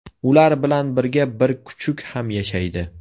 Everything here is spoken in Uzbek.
Ular bilan birga bir kuchuk ham yashaydi.